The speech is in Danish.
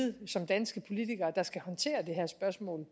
vi som danske politikere der skal håndtere det her spørgsmål